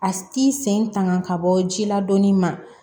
A t'i sen tanga ka bɔ ji la dɔɔni ma